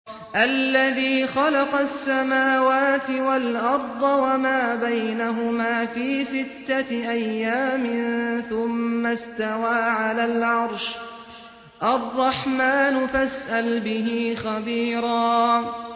الَّذِي خَلَقَ السَّمَاوَاتِ وَالْأَرْضَ وَمَا بَيْنَهُمَا فِي سِتَّةِ أَيَّامٍ ثُمَّ اسْتَوَىٰ عَلَى الْعَرْشِ ۚ الرَّحْمَٰنُ فَاسْأَلْ بِهِ خَبِيرًا